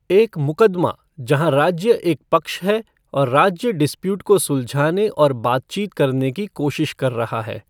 एक मुक़दमा जहाँ राज्य एक पक्ष है और राज्य डिसप्युट को सुलझाने और बातचीत करने की कोशिश कर रहा है।